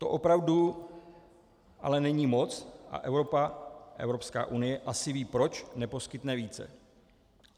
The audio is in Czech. To opravdu ale není moc a Evropa, Evropská unie, asi ví, proč neposkytne více.